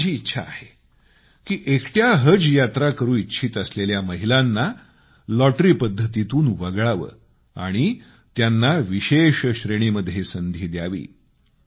परंतु माझी इच्छा आहे की एकट्या हज यात्रा करू इच्छित असलेल्या महिलांना लॉटरी पद्धतीतून वगळावे आणि त्यांना विशेष श्रेणीमध्ये संधी द्यावी